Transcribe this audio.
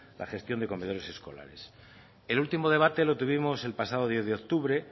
la gestión de comedores escolares el último debate lo tuvimos el pasado diez de octubre